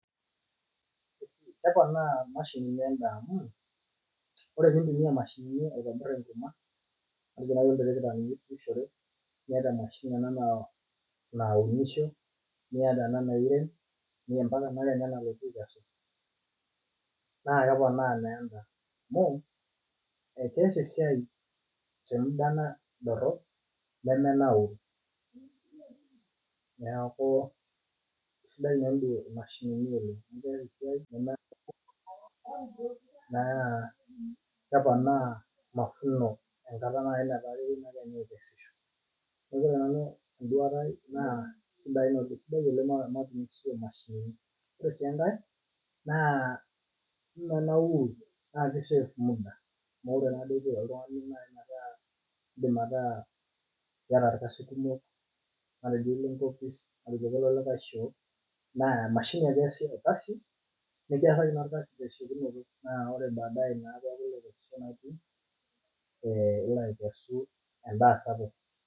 Keponaa mashinini emdaa amu ore pintumia mashinini aitaunye enkurma niata mashinini naunishe niata ena nairem niata enakesu nakeponaa endaa amu keas esiai temuda dorop nemenauru neaku sidia inamashini oleng na keponaa mafuno enkata nataa keponu akesisho na ore enduata aai na kesidai oleng mashinini ore si enkae na menauri na kisef muda metaa indim ataa irkasin kumok matejo iyieu nilo enkopis na elelek aa emashini ake iasishore nikiasami enamashini tesiokinoto na ilo akesu endaa sapuk